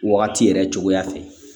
Wagati yɛrɛ cogoya fɛ